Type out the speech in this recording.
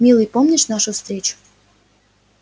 милый помнишь нашу встречу